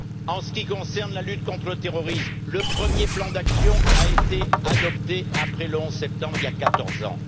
En ce qui concerne la lutte contre le terrorisme, le premier plan d'action a été adopté après le 11 septembre, il y a 14 ans.